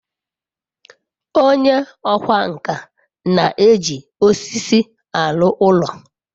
onye okwá nkà na-eji osisi aru oru